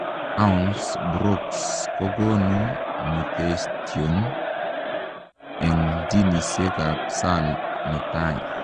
Taons broks kokonuu mutetion eng jisiek ap SALL netai.